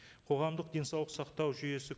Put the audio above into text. қоғамдық денсаулық сақтау жүйесі